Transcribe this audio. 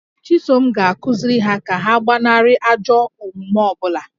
Chisom ga-akụziri ha ka ha gbanarị ajọ omume ọ bụla